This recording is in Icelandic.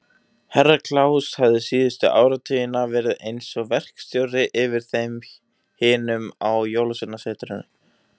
Herra Kláus hafði síðustu áratugina verið eins og verkstjóri yfir þeim hinum á Jólasveinasetrinu.